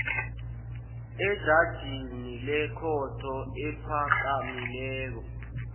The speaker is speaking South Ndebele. ejajini lekhotho ephakamileko